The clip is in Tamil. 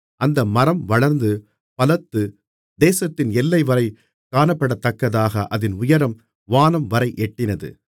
அந்த மரம் வளர்ந்து பலத்து தேசத்தின் எல்லைவரை காணப்படத்தக்கதாக அதின் உயரம் வானம்வரை எட்டினது